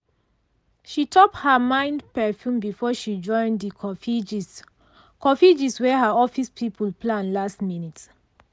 she top her mild perfume before she join the coffee gist coffee gist wey her office people plan last minute.